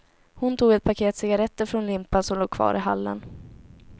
Hon tog ett paket cigaretter från limpan som låg kvar i hallen.